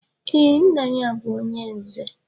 Ee, nna ya bu onye nze